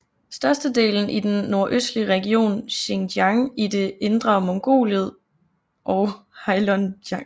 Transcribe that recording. Størstedelen i den nordøstlige region Xinjiang og i det Indre Mongoliet og Heilongjiang